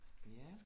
Ja